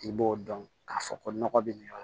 I b'o dɔn k'a fɔ ko nɔgɔ be nin yɔrɔ la